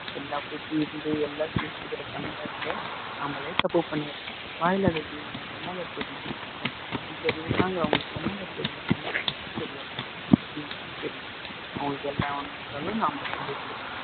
எல்லா புத்தி இருந்து எல்லாத்தையும் யோசிக்கிற தன்மயிருந்தே நாமளே தப்பு பண்ணிடுறோம் வாயில்லாத ஜீவன் என்னங்க தெரியணும் அஞ்சு அறிவுதாங்க அங்களுக்கு என்னங்க தெரியும் ஒண்ணுமே தெரியாது ஒண்ணுமே தெரியாது அவங்களுக்கு ஒவ்வொன்னு நாம சொல்லிகுடுக்கனும்